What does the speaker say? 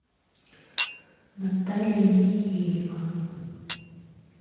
наталья михеева